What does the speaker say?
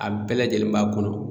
A bɛɛ lajɛlen b'a kɔnɔ